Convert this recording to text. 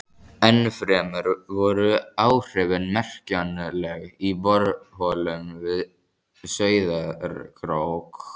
Ennfremur voru áhrifin merkjanleg í borholum við Sauðárkrók.